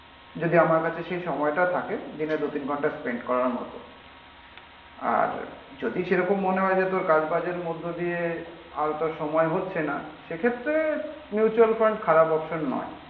যদি আমরা কাছে সেই সময়টা থাকে দিনে দু তিন ঘন্টা স্পেন্ড করার মতো। আর যদি সেরকম মনে হয় যে তোর কাজবাজের মধ্যে দিয়ে আর তোর সময় হচ্ছে না সেক্ষেত্রে মিউচুয়াল ফান্ড খারাপ অপসন নয়